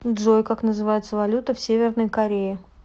джой как называется валюта в северной корее